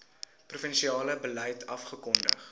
provinsiale beleid afgekondig